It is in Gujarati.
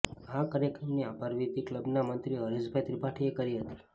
આ કાર્યક્રમની આભરવીધી ક્લબના મંત્રી હરેશભાઈ ત્રિપાઠીએ કરી હતી